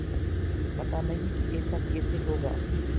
पता नहीं कि ऐसा कैसे होगा